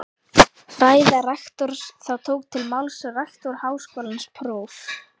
Ræða rektors Þá tók til máls rektor Háskólans próf.